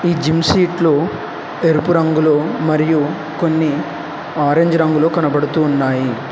ఈ జిమ్ సీట్లు ఎరుపు రంగులో మరియు కొన్ని ఆరెంజ్ రంగులో కనబడుతున్నాయి.